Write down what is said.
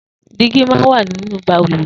Dìgí má n wà ninú bàlùwẹ̀